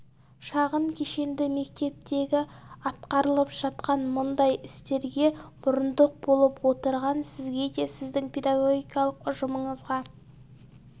шағын кешенді мектептегі атқарылып жатқан мұндай істерге мұрындық болып отырған сізге де сіздің педагогикалық ұжымыңызға